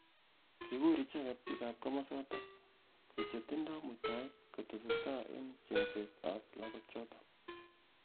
Kikur icheget bik am kimosatak koek chetindoi muitaet kotesetai eng chengset ab lakok chotok.